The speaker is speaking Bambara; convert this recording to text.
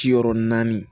Ciyɔrɔ naani